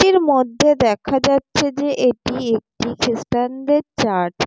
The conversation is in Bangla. এটির মধ্যে দেখা যাচ্ছে যে এটি একটি খ্রিস্টানদের চার্চ ।